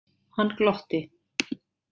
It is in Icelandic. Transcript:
Hann glotti.